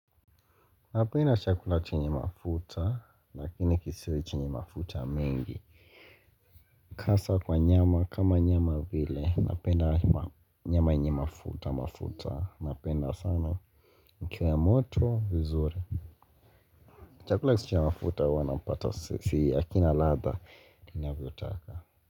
Napenda chakula chenye mafuta, lakini kisiwe chini mafuta mengi Hasa kwa nyama, kama nyama vile, napenda nyama yenye mafuta, mafuta, napenda sana ikiwa moto, uzuri Chakula kisicho na mafuta huwa napata sii hakina ladha, ninaavyo taka.